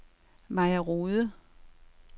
Maja Rohde